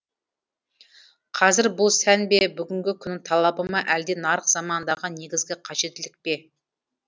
қазір бұл сән бе бүгінгі күннің талабы ма әлде нарық заманындағы негізгі қажеттілік пе